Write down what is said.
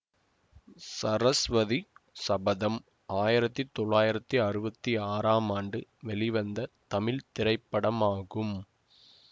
சரஸ்வதி சபதம் ஆயிரத்தி தொள்ளாயிரத்தி அறுவத்தி ஆறாம் ஆண்டு வெளிவந்த தமிழ் திரைப்படமாகும்